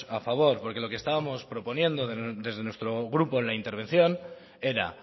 a favor porque lo que estábamos proponiendo desde nuestro grupo en la intervención era